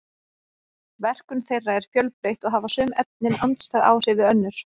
verkun þeirra er fjölbreytt og hafa sum efnin andstæð áhrif við önnur